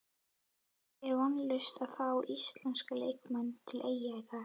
Er vonlaust að fá íslenska leikmenn til Eyja í dag?